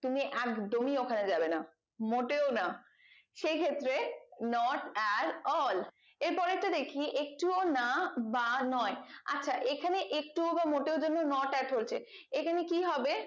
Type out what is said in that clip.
তুমি একদমই ওখানে যাবে না মোটেও না সেই ক্ষেত্রে not at all এর পরেরটা দেখি একটুও না বা নয় আচ্ছা এখানে একটুও বা মোটেও জন্য not at হয়েছে এখানে কি হবে